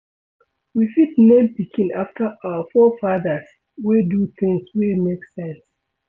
We fit name pikin after our forefathers wey do things wey make sense